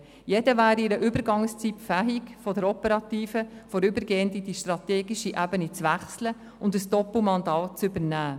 Jeder wäre in einer Übergangszeit fähig, von der operativen vorübergehend zur strategischen Ebene zu wechseln und ein Doppelmandat zu übernehmen.